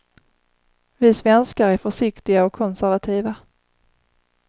Vi svenskar är försiktiga och konservativa.